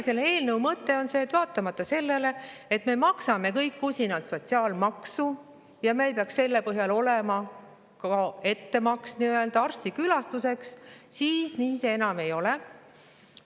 " Selle eelnõu mõte on see, et vaatamata sellele, et me maksame kõik usinalt sotsiaalmaksu ja meil peaks selle põhjal olema nii-öelda ettemaks arsti külastuseks, siis nii see enam ei ole.